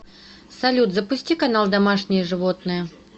салют запусти канал домашние животные